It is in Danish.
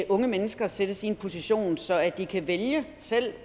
unge mennesker sættes i en position så de kan vælge selv